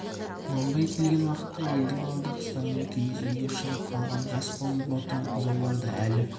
құнанбай келген уақытта елдің алды қыстаудан киіз үйге шығып қалған жас қозы бота бұзаулар да әлі